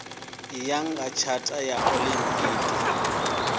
ya nga tshata ya olimpiki